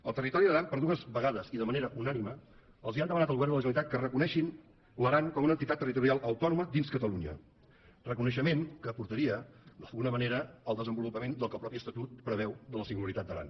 el territori d’aran per dues vegades i de manera unànime han demanat al govern de la generalitat que reconeguin l’aran com una entitat territorial autònoma dins catalunya reconeixement que portaria d’alguna manera al desenvolupament del que el mateix estatut preveu de la singularitat d’aran